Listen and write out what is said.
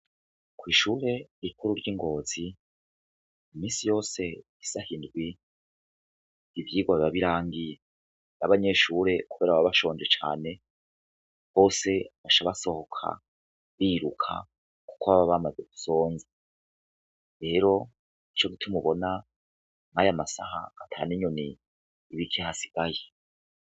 Kw'ishure rikuru ry'i Ngozi, misi yose isaha indwi ivyigwa biba birangiye, abanyeshure baba bashonje cane, bose baca basohoka biruka, kuko baba bamaze gusonza, rero nico gituma ubona aya masaha ata n'inyoni ikihasigaye.